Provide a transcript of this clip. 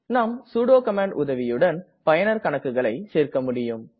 நாம் sudo command உதவியுடன் பயனர் கணக்குகளை சேர்க்க முடியும்